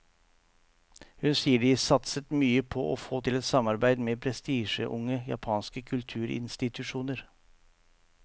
Hun sier de satset mye på å få til et samarbeid med prestisjetunge japanske kulturinstitusjoner.